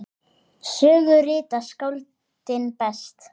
Sögu rita skáldin best.